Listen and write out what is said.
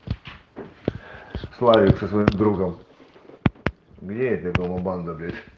славик со своим другом где это его банда блять